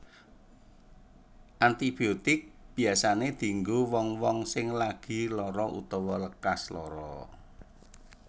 Antibiotik biyasané dienggo wong wong sing lagi lara utawa lekas lara